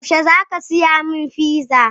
Yaushe za ka saya min fiza?